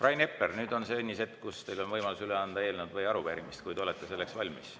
Rain Epler, nüüd on see õnnis hetk, kui teil on võimalus üle anda eelnõu või arupärimine, kui te olete selleks valmis.